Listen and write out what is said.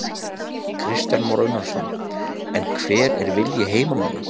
Kristján Már Unnarsson: En hver er vilji heimamanna?